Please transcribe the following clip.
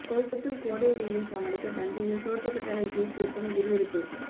கொளுத்தும் கோடை வெயிலை சமாளிக்க தஞ்சையில் சோற்று கற்றாழை ஜூஸ் விற்பனை விறுவிறுப்பு